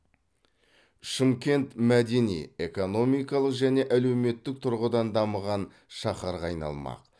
шымкент мәдени экономикалық және әлеуметтік тұрғыдан дамыған шаһарға айналмақ